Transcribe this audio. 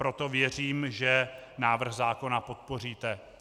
Proto věřím, že návrh zákona podpoříte.